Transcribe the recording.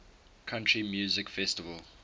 country music festival